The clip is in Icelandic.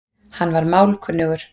Hann var málkunnugur